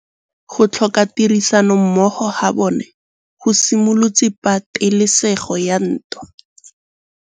Go tlhoka tirsanommogo ga bone go simolotse patêlêsêgô ya ntwa.